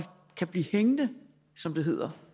kan blive hængende som det hedder